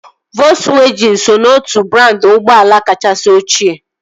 Volzwajịn so n'otu brandị ụgbọala kachasị ọchịe